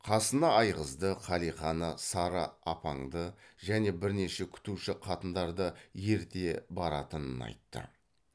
қасына айғызды қалиқаны сары апаңды және бірнеше күтуші қатындарды ерте баратынын айтты